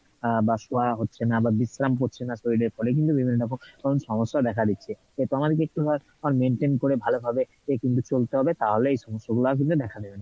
আহ বা শোয়া হচ্ছে না বা বিশ্রাম হচ্ছে না শরীরের ফলে কিন্তু বিভিন্নরকম সমস্যা দেখা দিচ্ছে, maintain করে ভালো ভাবে কিন্তু চলতে হবে তাহলেই এই সমস্যা গুলাও কিন্তু আর দেখা দিবেনা